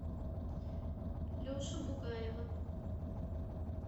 лешу бугаева